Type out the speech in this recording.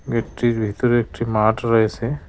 গেটটির ভিতরে একটি মাঠ রয়েছে।